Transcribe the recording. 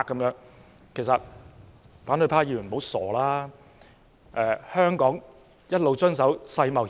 事實上，香港一直遵守世貿協議。